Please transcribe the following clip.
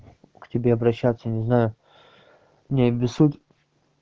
к тебе обращаться не знаю не обессудь